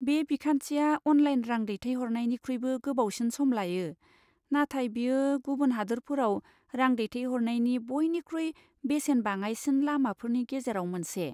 बे बिखान्थिया अनलाइन रां दैथायहरनायनिख्रुइबो गोबावसिन सम लायो, नाथाय बेयो गुबुन हादोरफोराव रां दैथायहरनायनि बयनिख्रुइ बेसेन बाङाइसिन लामाफोरनि गेजेराव मोनसे।